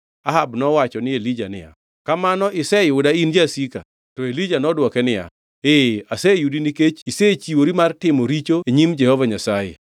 Ahab nowacho ni Elija niya, “Kamano iseyuda in jasika!” To Elija nodwoke niya, “Ee, aseyudi nikech isechiwori mar timo richo e nyim Jehova Nyasaye.